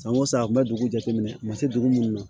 San o san an kun bɛ dugu jateminɛ u ma se dugu minnu na